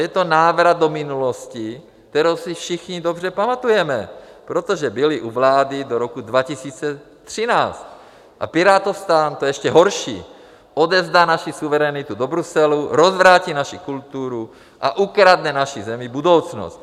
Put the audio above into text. Je to návrat do minulosti, kterou si všichni dobře pamatujeme, protože byli u vlády do roku 2013, a PirátoSTAN, to je ještě horší, odevzdá naši suverenitu do Bruselu, rozvrátí naši kulturu a ukradne naší zemi budoucnost.